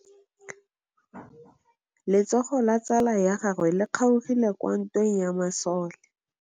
Letsôgô la tsala ya gagwe le kgaogile kwa ntweng ya masole.